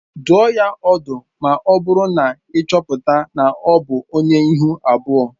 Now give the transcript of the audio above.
Dụọ ya ọdụ ma ọ bụrụ na ị chọpụta na ọ bụ onye ihu abụọ